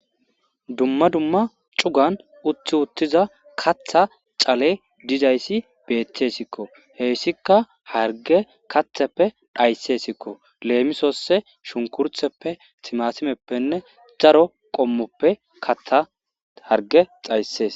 Dumma dumma cugan utthi uttiza katha cale dizayssi beeththesikko heyssikka harge katheppe dhayssesikko leemisosse shunkurtheppe timasimeppenne daro qommoppe katha harge xayssees.